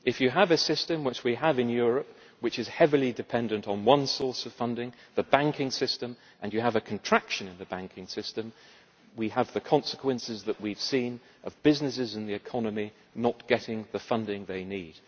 If you have a system which we have in Europe which is heavily dependent on one source of funding the banking system and you have a contraction in the banking system, then you get the consequences we have seen of businesses in the economy not getting the funding they need.